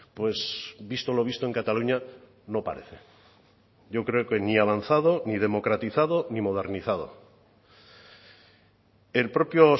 pues visto lo visto en cataluña no parece yo creo que ni ha avanzado ni democratizado ni modernizado el propio